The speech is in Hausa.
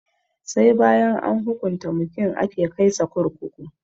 Sai bayan an hukunta mutum ake kai sa kurkuku